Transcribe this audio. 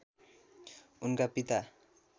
उनका पिता